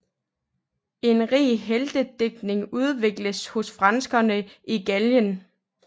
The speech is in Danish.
En rig heltedigtning udvikledes hos frankerne i Gallien